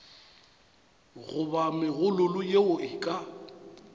goba megololo yeo e ka